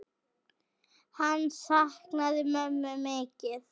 Hann saknaði mömmu mikið.